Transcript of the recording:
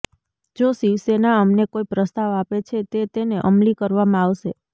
જો શિવસેના અમને કોઈ પ્રસ્તાવ આપે છે તે તેને અમલી કરવામાં આવશે